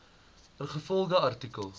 ingevolge artikel